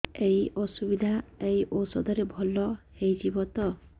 ଏଇ ଅସୁବିଧା ଏଇ ଔଷଧ ରେ ଭଲ ହେଇଯିବ ତ